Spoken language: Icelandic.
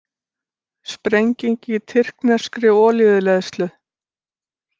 Sprenging í tyrkneskri olíuleiðslu